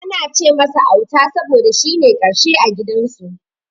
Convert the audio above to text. Ana ce masa Auta saboda shine na karshe a gidan su.